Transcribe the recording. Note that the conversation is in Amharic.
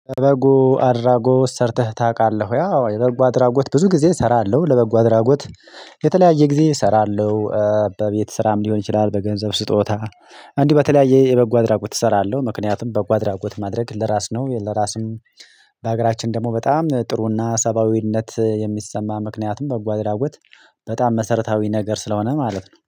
በበጉ አድራጎት ሰርተህ ታውቃለህ ያው? የበጉ አድራጎት ብዙ ጊዜ እሰራለሁ። ለበጉ አድራጎት የተለያየ ጊዜ እሰራለሁ። በቤት ስራም ሊሆን ይችላል፤ በገንዘብ ስጦታ እንዲህ በተለያየ የበጎ አድራጎት እሰራለሁ። ምክንያቱም በጓድ አድራጎት ማድረግ ለራስ ነው። ለራስም በሀገራችን ደግሞ በጣም ጥሩና ሰብአዊነት የሚሰማ ምክንያቱም በጓደኛው በጣም መሰረታዊ ነገር ስለሆነ ማለት ነው።